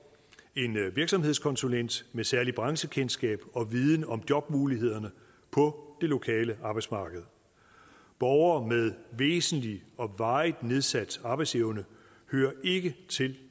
en virksomhedskonsulent med særligt branchekendskab og viden om jobmulighederne på det lokale arbejdsmarked borgere med væsentlig og varigt nedsat arbejdsevne hører ikke til